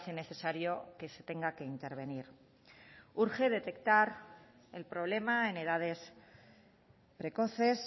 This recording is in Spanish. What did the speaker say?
necesario que se tenga que intervenir urge detectar el problema en edades precoces